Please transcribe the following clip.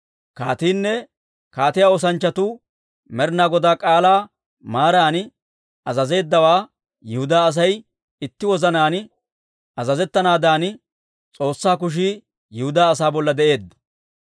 Kaatiinne kaatiyaa oosanchchatuu Med'inaa Godaa k'aalaa maaran azazeeddawaa, Yihudaa Asay itti wozanaan azazettanaadan, S'oossaa kushii Yihudaa asaa bolla de'eedda.